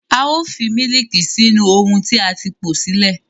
A ó fi mílííkì sínú ohun tí a ti po sílẹ̀.